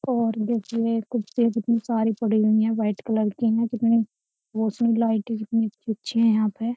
और देखिए खुरसी कितनी सारी पड़ी हुई है वाइट कलर की है कितनी रोशनी लाइट कितनी अच्छी-अच्छी है यहाँ पे।